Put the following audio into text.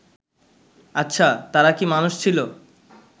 আচ্ছা তারা কি মানুষ ছিল